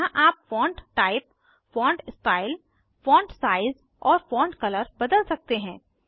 यहाँ आप font type font style font size और फॉन्ट कलर बदल सकते हैं